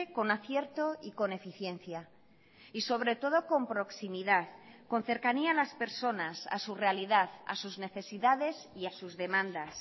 con acierto y con eficiencia y sobre todo con proximidad con cercanía a las personas a su realidad a sus necesidades y a sus demandas